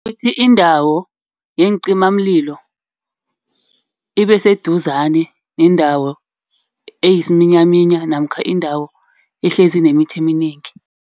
Ukuthi indawo yeencimamlilo ibe seduzane neendawo eyisiminyaminya namkha indawo ehlezi inemithi eminengi.